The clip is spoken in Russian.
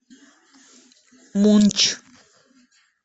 мунч